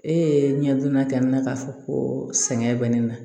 E ɲɛ donna kɛ ne na k'a fɔ ko sɛgɛn bɛ ne na